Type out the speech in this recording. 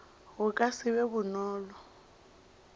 go ka se be bonolo